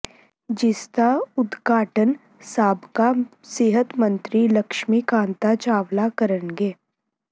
ਜਿਸਦਾ ਉਦਘਾਟਨ ਸਾਬਕਾ ਸਿਹਤ ਮੰਤਰੀ ਲਕਸ਼ਮੀ ਕਾਂਤਾ ਚਾਵਲਾ ਕਰਨਗੇ